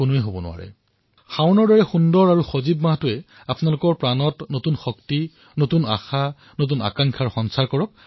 মই আপোনালোকলৈ শুভকামনা জনাইছো যে শাওণৰ এই সুন্দৰ আৰু জীৱন্ত মাহটোৱে যেন আপোনালোকৰ জীৱনলৈ শক্তি নতুন আশা আৰু নতুন উৎসাহৰ সৃষ্টি কৰে